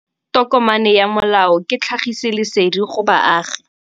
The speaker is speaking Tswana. Tokomane ya molao ke tlhagisi lesedi go baagi.